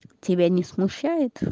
тебя не смущает